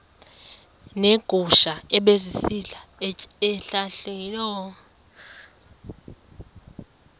neegusha ebezisitya ezihlahleni